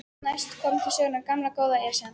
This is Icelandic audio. Næst kom til sögunnar gamla, góða Esjan.